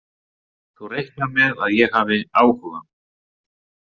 Þú reiknar með að ég hafi áhuga?